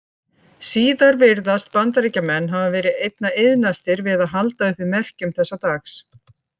Síðar virðast Bandaríkjamenn hafa verið einna iðnastir við að halda uppi merkjum þessa dags.